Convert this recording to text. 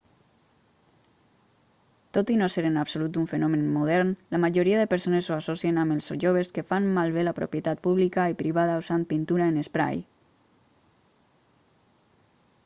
tot i no ser en absolut un fenomen modern la majoria de persones ho associen amb els joves que fan malbé la propietat pública i privada usant pintura en esprai